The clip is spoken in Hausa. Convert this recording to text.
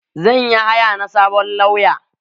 Zan yi haya na sabon lauya.